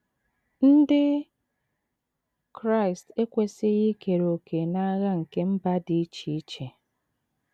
Ndị Kraịst ekwesịghị ikere òkè n’agha nke mba dị iche iche.